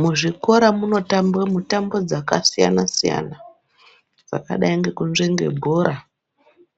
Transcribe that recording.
Muzvikora munotambwe mutambo dzakasiyana siyana dzakadai ngekunzvenge bhora